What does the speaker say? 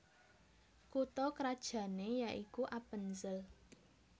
Kutha krajané yaikuAppenzell